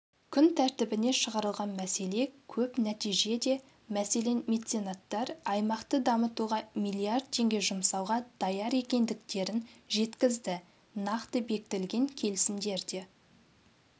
күн тәртібіне шығарылған мәселе көп нәтиже де мәселен меценаттар аймақты дамытуға миллиард теңге жұмсауға даяр екендіктерін жеткізді нақты бекітілген келісімдер де